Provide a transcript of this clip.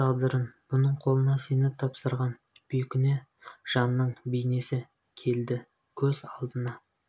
өз тағдырын бұның қолына сеніп тапсырған бейкүнә жанның бейнесі келді көз алдына